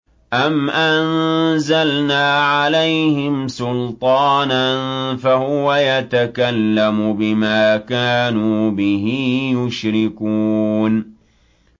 أَمْ أَنزَلْنَا عَلَيْهِمْ سُلْطَانًا فَهُوَ يَتَكَلَّمُ بِمَا كَانُوا بِهِ يُشْرِكُونَ